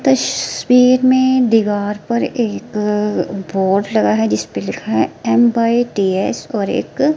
तस्वीर में दीवार पर एक अ बोर्ड लगा है जिस पे लिखा है एम बाई टी एस और एक--